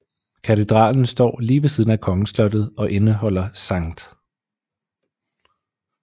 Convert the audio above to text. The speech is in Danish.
Katedralen står lige ved siden af kongeslottet og indeholder St